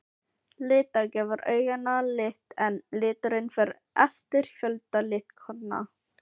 Lita gefur auganu lit en liturinn fer eftir fjölda litkorna.